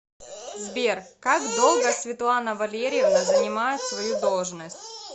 сбер как долго светлана валерьевна занимает свою должность